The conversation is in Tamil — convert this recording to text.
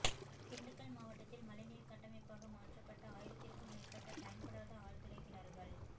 திண்டுக்கல் மாவட்டத்தில் மழைநீர் கட்டமைப்பாக மாற்றப்பட்ட ஆயிரத்திற்கும் மேற்பட்ட பயன்படாத ஆழ்துளை கிணறுகள்